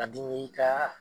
Ka dimi i kaaa